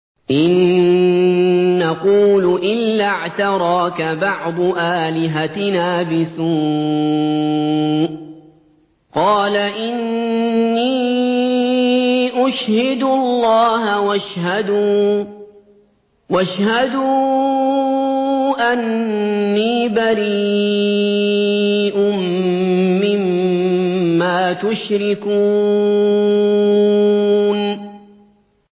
إِن نَّقُولُ إِلَّا اعْتَرَاكَ بَعْضُ آلِهَتِنَا بِسُوءٍ ۗ قَالَ إِنِّي أُشْهِدُ اللَّهَ وَاشْهَدُوا أَنِّي بَرِيءٌ مِّمَّا تُشْرِكُونَ